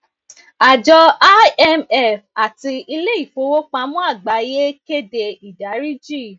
àjọ imf àti ileifowopamọ àgbáyé kéde ìdáríjì